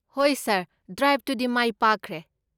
ꯍꯣꯏ ꯁꯥꯔ, ꯗ꯭ꯔꯥꯏꯕꯇꯨꯗꯤ ꯃꯥꯏ ꯄꯥꯛꯈ꯭ꯔꯦ꯫